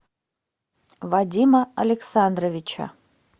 вадима александровича